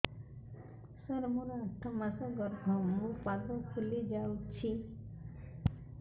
ସାର ମୋର ଆଠ ମାସ ଗର୍ଭ ମୋ ପାଦ ଫୁଲିଯାଉଛି